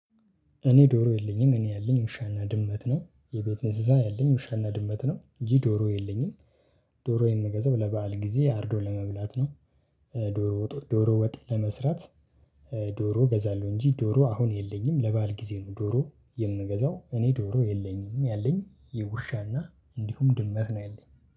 እኔ ዶሮ የለኝም እኔ ያለኝ ውሻና ድመት ነው የቤት እንስሳ ያለኝ ውሻና ድመት ነው እንጅ ዶሮ የለኝም። የምገዛው ለበአል ጊዜ አርዶ ለመብላት ነው። ዶሮ ወጡን ዶሮ ወጥ ለመስራት። ዶሮ እገዛለሁ እንጂ ዶሮ አሁን የለኝም ለባል ጊዜ ነው። ዶሮ የምንገዛው እኔ ዶሮ የለኝም ያለኝ የውሻና እንዲሁም ድመት ነው ያለኝ